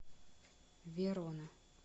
верона